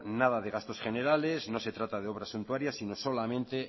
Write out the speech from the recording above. nada de gastos generales no se trata de obras suntuarias sino solamente